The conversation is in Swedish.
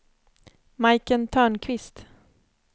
Majken Törnqvist